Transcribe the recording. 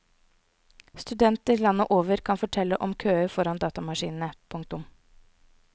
Studenter landet over kan fortelle om køer foran datamaskinene. punktum